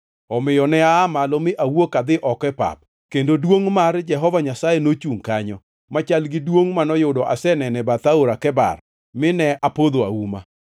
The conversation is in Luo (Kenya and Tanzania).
Omiyo ne aa malo mi awuok adhi oko e pap, kendo duongʼ mar Jehova Nyasaye nochungʼ kanyo, machal gi duongʼ manoyudo aseneno e bath Aora Kebar, mine apodho auma.